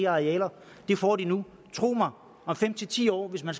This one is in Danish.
arealer det får de nu tro mig om fem ti år hvis man